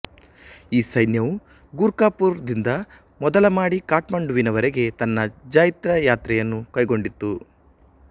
ಈ ಸೈನ್ಯವು ಗೂರ್ಖಪೂರ್ ದಿಂದ ಮೊದಲಮಾಡಿ ಕಠ್ಮಂಡುವಿನ ವರೆಗೆ ತನ್ನ ಜೈತ್ರ ಯಾತ್ರೆಯನ್ನು ಕೈಗೊಂಡಿತ್ತು